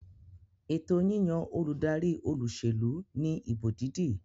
Ètò yíyan olùdarí olúsèlú ní ìbò dídì